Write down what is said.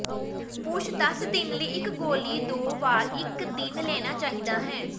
ਪੁਰਸ਼ ਦਸ ਦਿਨ ਲਈ ਇੱਕ ਗੋਲੀ ਦੋ ਵਾਰ ਇੱਕ ਦਿਨ ਲੈਣਾ ਚਾਹੀਦਾ ਹੈ